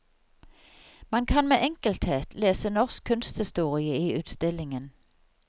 Man kan med enkelthet lese norsk kunsthistorie i utstillingen.